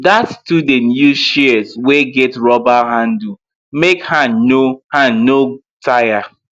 that student use shears wey get rubber handle make hand no hand no tire